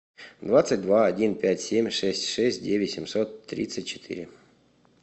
двадцать два один пять семь шесть шесть девять семьсот тридцать четыре